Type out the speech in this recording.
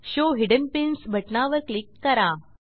show hidden pins बटनावर click करा